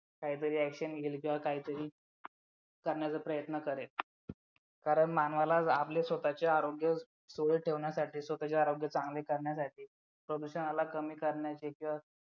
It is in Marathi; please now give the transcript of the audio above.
काहीतरी action घेईल किंवा काहीतरी करण्याचा प्रयत्न करेल कारण मानवाला आपल्या स्वतःच्या आरोग्य सुयोग्य ठेवण्यासाठी स्वतःचे आरोग्य चांगले ठेवण्यासाठी प्रदूषणाला कमी करण्याचे किंवा